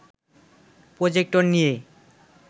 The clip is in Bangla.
প্রজেক্টর নিয়ে